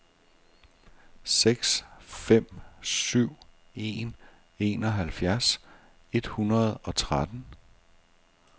seks fem syv en enoghalvfjerds et hundrede og tretten